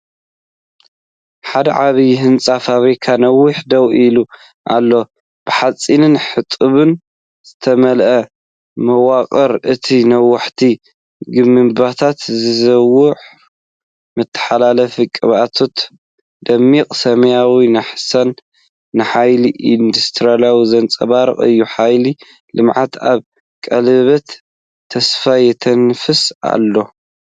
ሓደ ዓቢይ ህንጻ ፋብሪካ ነዊሕ ደው ኢሉ ኣሎ፣ ብሓጺንን ሕጡብን ዝተመልአ መዋቕር። እቲ ነዋሕቲ ግምብታት፡ ዝዘውር መተሓላለፊ ቀበቶታትን ድሙቕ ሰማያዊ ናሕስን ንሓይሊ ኢንዱስትሪ ዘንጸባርቕ እዩ። ሓይሊ ልምዓት ኣብ ቀለቤት ተስፋ የተንፍስ ኣሎ።